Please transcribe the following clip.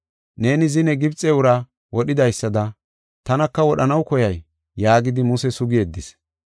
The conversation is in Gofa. Neeni zine Gibxe uraa wodhidaysada tanaka wodhanaw koyay?’ yaagidi Muse sugi yeddis.